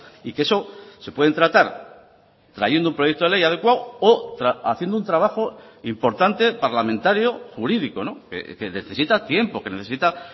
y que eso se pueden tratar trayendo un proyecto de ley adecuado o haciendo un trabajo importante parlamentario jurídico que necesita tiempo que necesita